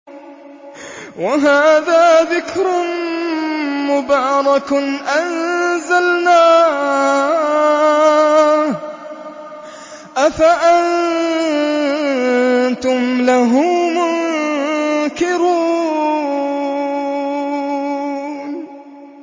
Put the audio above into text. وَهَٰذَا ذِكْرٌ مُّبَارَكٌ أَنزَلْنَاهُ ۚ أَفَأَنتُمْ لَهُ مُنكِرُونَ